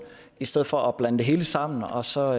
i stedet for at blande det hele sammen og så